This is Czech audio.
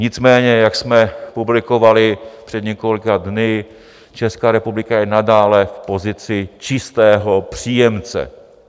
Nicméně jak jsme publikovali před několika dny, Česká republika je nadále v pozici čistého příjemce.